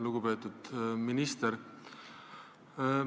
Lugupeetud minister!